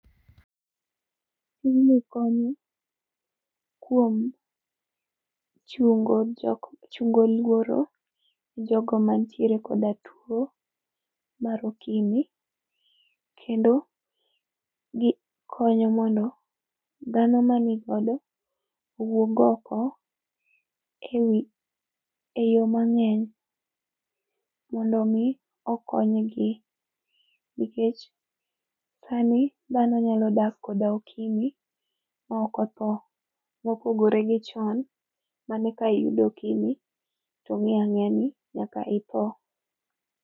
Tijni konyi kuom chungo jok, chungo luoro ne jogo mantiere koda tuo mar okimi kendo gikonyo mondo dhano manigodo owuog oko ewi, e yoo mangeny mondo mi okonygi nikech sani dhano nyalo dak koda okimi maok otho mopogore gi chon mane ka iyudo okimi to ong'e ang'eyani nyaka itho